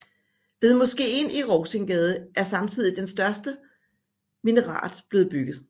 Ved moskeen i Rovsingsgade er samtidig den første danske minaret blevet bygget